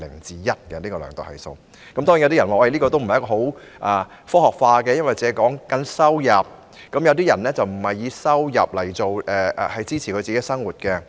當然，有人會說這個數字不夠科學化，因為它只量度收入，但有些人並非以收入維持生計。